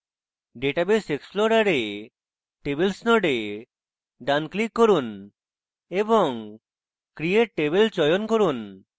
database explorer tables node ডান click করুন এবং create table চয়ন করুন